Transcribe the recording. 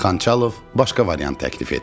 Xançalov başqa variant təklif etdi.